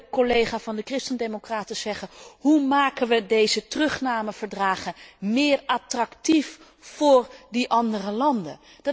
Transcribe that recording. Ik hoorde een collega van de christendemocraten zeggen Hoe maken wij deze terugnameverdragen meer attractief voor die andere landen?